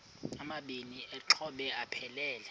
amabini exhobe aphelela